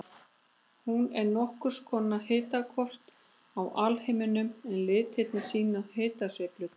Hún er nokkurs konar hitakort af alheiminum en litirnir sýna hitasveiflurnar.